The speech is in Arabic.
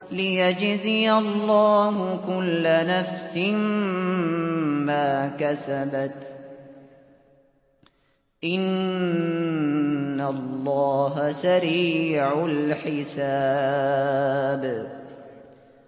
لِيَجْزِيَ اللَّهُ كُلَّ نَفْسٍ مَّا كَسَبَتْ ۚ إِنَّ اللَّهَ سَرِيعُ الْحِسَابِ